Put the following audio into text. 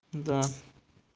да